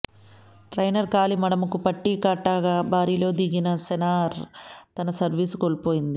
trainer కాలి మడమకు పట్టీ కట్టాక బరిలోకి దిగిన సెరెనా తన సర్వీస్ను కోల్పోయింది